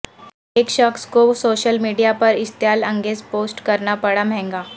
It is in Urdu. ایک شخص کو سوشل میڈیا پر اشتعال انگیز پوسٹ کرناپڑا مہنگا